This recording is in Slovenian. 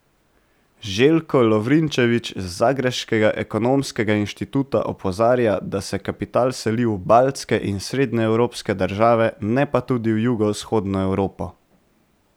Željko Lovrinčević z zagrebškega ekonomskega inštituta opozarja, da se kapital seli v baltske in srednjeevropske države, ne pa tudi v jugovzhodno Evropo.